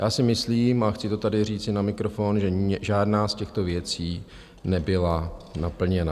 Já si myslím, a chci to tady říci na mikrofon, že žádná z těchto věcí nebyla naplněna.